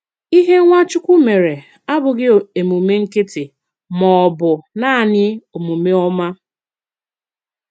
Ìhè Nwachukwu mèré àbụ̀ghi emùmè nkìtíí mà ọ̀ bụ̀ naanị òmùmè òmá.